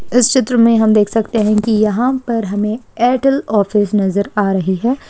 इस चित्र हम देख सकते है की यहां पर हमे एयरटेल ऑफिस नज़र आ रही है।